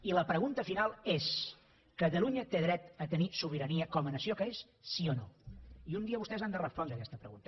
i la pregunta final és catalunya té dret a tenir sobirania com a nació que és sí o no i un dia vostès han de respondre a aquesta pregunta